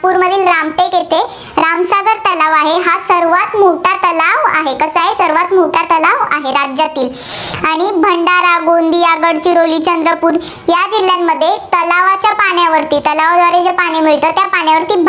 तलाव आहे, हा सर्वांत मोठा तलाव आहे. तर काय सर्वांत मोठा तलाव आहे, राज्यातील. आणि भंडारा, गोंदिया, गडचिरोली, चंद्रपूर या जिल्ह्यांमध्ये तलावाच्या पाण्यावरती, तलावाद्वारे जे पाणी मिळतं, त्या पाण्यावरती